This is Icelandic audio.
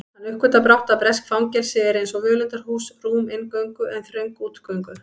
Hann uppgötvar brátt að bresk fangelsi eru einsog völundarhús, rúm inngöngu en þröng útgöngu